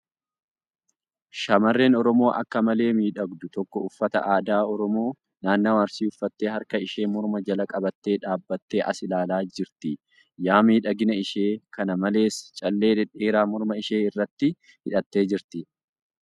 Shamarreen Oromoo akka malee miidhagdu takka uffata aadaa Oromoo naannawaa Arsii uffattee harka ishee morma jala qabattee dhaabbattee as ilaalaa jirti . Yaa miidhagina ishee ! Kana malees, callee dhedheeraa morma ishee irratti hidhattee jirti.